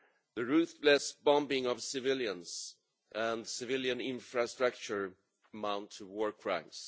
The ruthless bombing of civilians and civilian infrastructure amounts to war crimes.